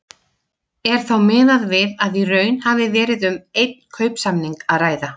Er þá miðað við að í raun hafi verið um einn kaupsamning að ræða.